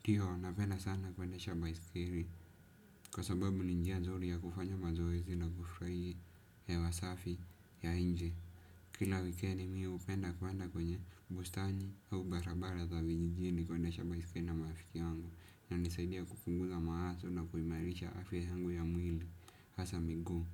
Ndio, napenda sana kuenda shabaisikiri, kwa sababu ninjia zori ya kufanya mazoe zila kufraie ya wasafi ya inje. Kila wikendi mimi hupenda kwenda kwenye bustani au barabara za vijijini kuendesha baisikelii na marafiki wangu. Na nisaidia kukunguza maato na kuimarisha afya hengu ya mwili, hasa migo.